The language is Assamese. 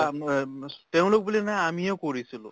বা তেওঁলোক বুলি নহয় আমিও কৰিছিলো